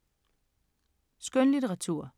Skønlitteratur